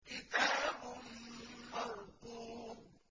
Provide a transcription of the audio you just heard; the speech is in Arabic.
كِتَابٌ مَّرْقُومٌ